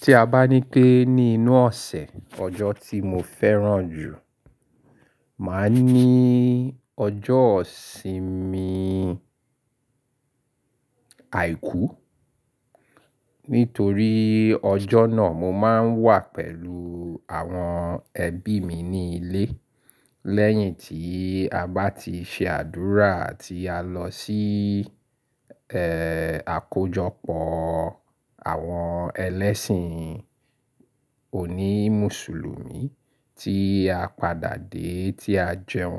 Tí a bá ní pé ní inú ọ̀sẹ̀, ọjọ́ tí mo fẹ́ràn jù, màá ní ọjọ́ ìsinmi àìkú. Nítorí ọjọ́ náà mo máa ń wà pẹ̀lú àwọn ẹbí mi ní ilé. Lẹ́yìn tí a bá ti ṣe àdúrà àti à lọ sí, ẹ́, àkójọpọ̀ àwọn ẹlẹ́sìn òní Mùsùlùmí tí a padà dé tí a jẹun.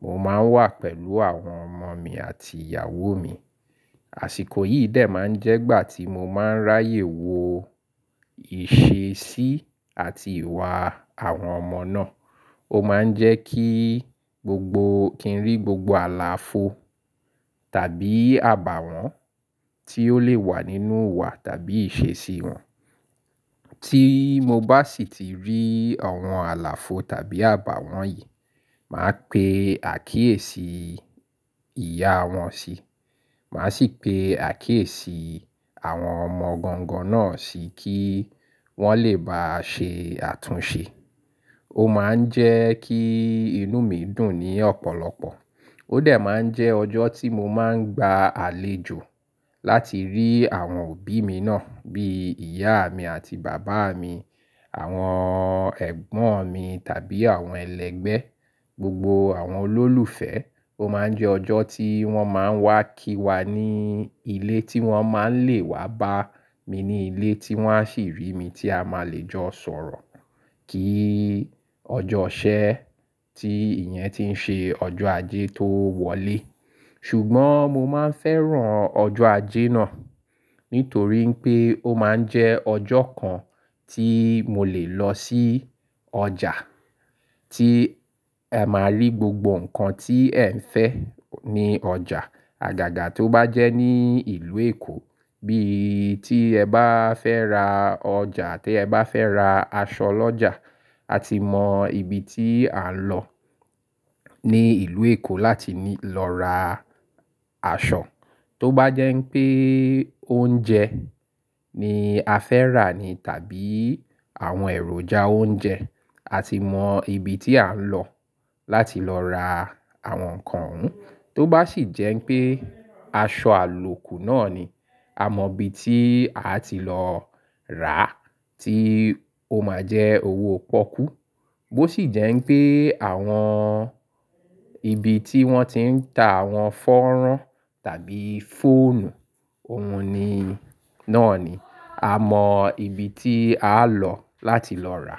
Mo máa ń wà pẹ̀lú àwọn ọmọ mi àti ìyàwó mi. Àsìkò yìí dè máa ń jẹ́ ìgbà tí mo máa ń ráyè wo ìṣesí àti ìwà àwọn ọmọ náà. Ó máa ń jẹ́ kí gbogbo, kí n rí gbogbo àlàfo tàbí àbàwọ́n tí ó lè wà nínú ìwà tàbí ìṣesí wọn. Tí mo bá sì ti rí àwọn àlàfo tàbí àbàwọ́n yìí, màá pe àkíyèsí ìyá wọn si, màá sì pe àkíyèsí àwọn ọmọ gangan náà sì kí wọ́n lè bá a ṣe àtúnṣe. Ó máa ń jẹ́ kí inú mi dùn ní ọ̀pọ̀lọpọ̀. Ó dè máa ń jẹ́ ọjọ́ tí mo máa ń gba àlejò láti rí àwọn òbí mi náà bí ìyá mi àti bàbá mi, àwọn ẹ̀gbọ́n mi tàbí àwọn ẹlẹgbẹ́, gbogbo àwọn olólùfẹ́. Ó máa ń jẹ́ ọjọ́ tí wọ́n máa ń wá kí wa ní ilé tí wọ́n máa ń lè wá bá mi ní ilé tí wọ́n á sì rí mi tí a máa le jọ sọ̀rọ̀. Kí ọjọ́ ìṣẹ́ tí ìyẹn ti ń ṣe ọjọ́ ajé tó wọlé. Ṣùgbọ́n mo máa ń fẹ́ràn ọjọ́ ajé náà, nítorí pé ó máa ń jẹ́ ọjọ́ kan tí mo lè lọ sí ọjà tí ẹ máa rí gbogbo nǹkan tí ẹ ń fẹ́ ní ọjà. Àgàgà tó bá jẹ́ ní ìlú Èkó, bí i tí ẹ bá fẹ́ ra ọjà àti ẹ bá fẹ́ ra aṣọ lọ́jà, a ti mọ ibi tí à ń lọ ní ìlú Èkó láti ní lọ ra aṣọ. Tó bá jẹ́ pé oúnjẹ ni a fẹ́ rà ni tàbí àwọn èròjà oúnjẹ, a ti mọ ibi tí a ń lọ láti lọ ra àwọn nǹkan oun. Tó bá sì jẹ́ pé aṣọ àlòkù náà ni, a mọ ibi tí a ti lọ rà tí ó máa jẹ́ owó pọ́kú. Bó sì jẹ́ pé àwọn ibi tí wọ́n ti ń ta àwọn fọ́nrán tàbí fóònù, òun ni, náà ni, a mọ ibi tí a lọ láti lọ rà.